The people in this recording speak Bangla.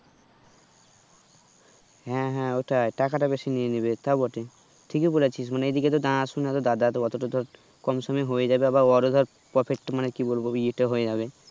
হ্যাঁ হ্যাঁ ওটাই টাকাটা বেশি নিয়ে নেবে তাও বটে ঠিকিই বলেছিস মানে এই দিকে তো জানাশোনা দাদা অতোটা ধর কমসমে হয়েযাবে আবার অরও ধর profit টো মানে কি বলবো ই তো হয়ে যাবে